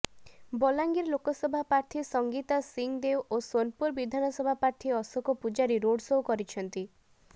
ବଲାଙ୍ଗିର ଲୋକସଭା ପ୍ରାର୍ଥୀ ସଂଙ୍ଗୀତା ସିଂଦେଓ ଓ ସୋନପୁର ବିଧାନସଭା ପ୍ରାର୍ଥୀ ଅଶୋକ ପୁଜାରୀ ରୋଡ ସୋ କରିଛନ୍ତି